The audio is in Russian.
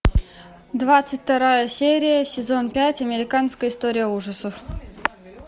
двадцать вторая серия сезон пять американская история ужасов